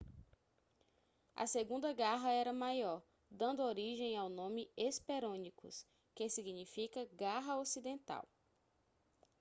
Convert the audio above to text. a segunda garra era maior dando origem ao nome hesperonychus que significa garra ocidental